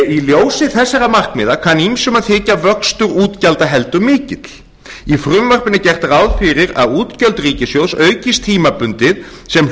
í ljósi þessara markmiða kann ýmsum að þykja vöxtur útgjalda heldur mikill í frumvarpinu er gert ráð fyrir að útgjöld ríkissjóðs aukist tímabundið sem